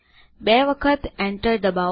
બે વખત enter દબાવો